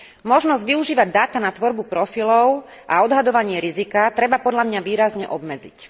Možnosť využívať dáta na tvorbu profilov a odhadovanie rizika treba podľa mňa výrazne obmedziť.